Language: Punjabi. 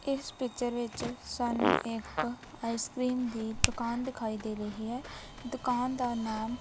ਇਸ ਪਿਕਚਰ ਵਿੱਚ ਸਾਨੂੰ ਇੱਕ ਆਈਸ ਕਰੀਮ ਦੀ ਦੁਕਾਨ ਦਿਖਾਈ ਦੇ ਰਹੀ ਹੈ ਦੁਕਾਨ ਦਾ ਨਾਮ--